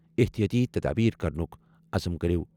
احتیاطی تدابیر کرنُک عزم کٔرِو۔